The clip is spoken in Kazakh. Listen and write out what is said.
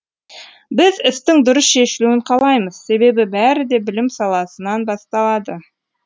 біз істің дұрыс шешілуін қалаймыз себебі бәрі де білім саласынан басталады